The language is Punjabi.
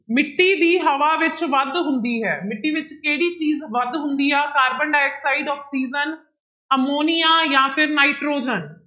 ਮਿੱਟੀ ਦੀ ਹਵਾ ਵਿੱਚ ਵੱਧ ਹੁੰਦੀ ਹੈ, ਮਿੱਟੀ ਵਿੱਚ ਕਿਹੜੀ ਚੀਜ਼ ਵੱਧ ਹੁੰਦੀ ਆ ਕਾਰਬਨ ਡਾਇਆਕਸਾਇਡ, ਆਕਸੀਜਨ ਅਮੋਨੀਆ ਜਾਂ ਫਿਰ ਨਾਇਟ੍ਰੋਜਨ।